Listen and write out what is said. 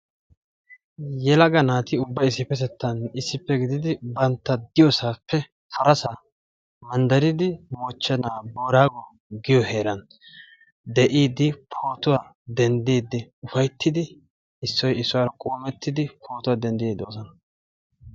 yelaga naati ubbay issipetettan issippe gididi banta diyosappe harasa mandaridi moochenaa boorago giyo heeran issoy issuwara pootuwa dendiidi de'oosona.